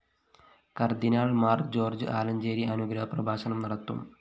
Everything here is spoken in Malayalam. കര്‍ദ്ദിനാള്‍ മാര്‍ ജോര്‍ജ് ആലഞ്ചേരി അനുഗ്രഹ പ്രഭാഷണം നടത്തും